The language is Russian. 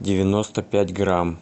девяносто пять грамм